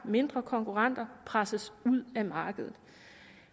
mindre konkurrenter presses ud af markedet